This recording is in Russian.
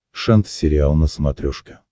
шант сериал на смотрешке